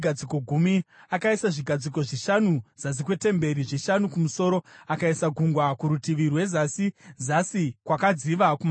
Akaisa zvigadziko zvishanu zasi kwetemberi, zvishanu kumusoro. Akaisa Gungwa kurutivi rwezasi, zasi kwakadziva kumabvazuva kwetemberi.